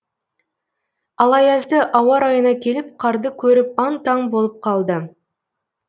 ал аязды ауа райына келіп қарды көріп аң таң болып қалды